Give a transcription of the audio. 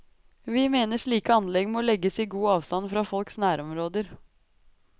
Vi mener slike anlegg må legges i god avstand fra folks nærområder.